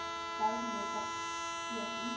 bou gemeenskapsgees iets